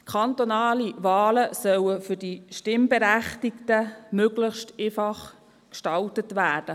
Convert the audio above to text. Kantonale Wahlen sollen für die Stimmberechtigten möglichst einfach gestaltet werden.